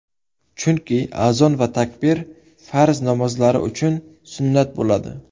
Chunki azon va takbir farz namozlari uchun sunnat bo‘ladi.